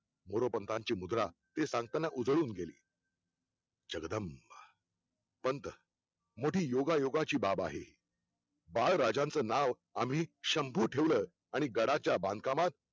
मोरोपंतांची मुद्रा हे सांगताना उधळून गेली जगदंब पंथ मोठी योगायोगा ची बाब आहे बाळराजांचं नाव आम्ही शंभु ठेवलं आणि गडाच्या बांधकामात